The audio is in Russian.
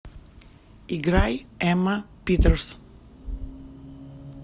играй эмма питерс